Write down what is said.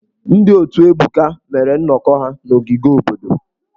Ndị otù Ebuka mere nnọkọ ha n’ogige obodo.